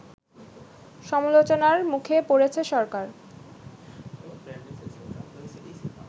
সমালোচনার মুখে পড়েছে সরকার